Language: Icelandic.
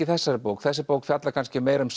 þessari bók þessi bók fjallar kannski meira um